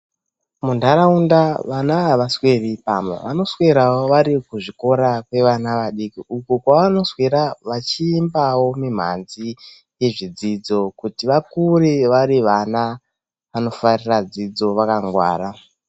Munharaunda vana avasweri pamba. Vanoswera vari kuzvikora kwevana vadiki uko kwavanoswera vachiimba mimhanzi nezvidzidzo kuti vakure vari vana vanofarira dzidzo vakangwara.